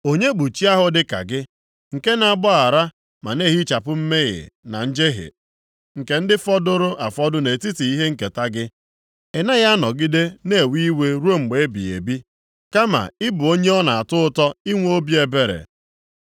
Onye bụ chi ahụ dịka gị, nke na-agbaghara ma na-ehichapụ mmehie na njehie nke ndị fọdụrụ afọdụ nʼetiti ihe nketa gị? Ị naghị anọgide na-ewe iwe ruo mgbe ebighị ebi, kama ị bụ onye ọ na-atọ ụtọ inwe obi ebere.